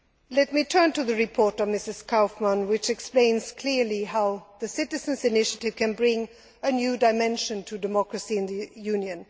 Let me turn to the report of Mrs Kaufmann, which explains clearly how the Citizens' Initiative can bring a new dimension to democracy in the Union.